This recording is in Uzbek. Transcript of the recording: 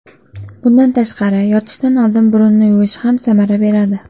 Bundan tashqari, yotishdan oldin burunni yuvish ham samara beradi.